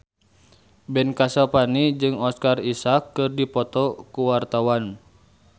Ben Kasyafani jeung Oscar Isaac keur dipoto ku wartawan